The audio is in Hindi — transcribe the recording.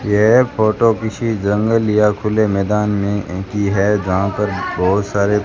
यह फोटो किसी जंगल या खुले मैदान में ए की है जहां पर बहोत सारे--